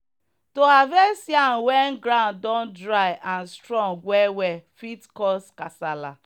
to harvest yam when ground don dry and strong well well fit cause kasala.